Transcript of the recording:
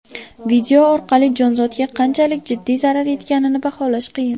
Video orqali jonzotga qanchalik jiddiy zarar yetganini baholash qiyin.